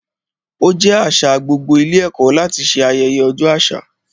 Ó jẹ́ àṣà gbogbo ilé ẹ̀kọ́ láti ṣe ayẹyẹ ọjọ́ àṣà.